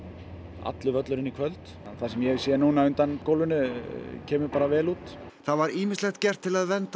allur völlurinn í kvöld það sem ég hef séð núna undan gólfinu kemur bara vel út það var ýmislegt gert til að vernda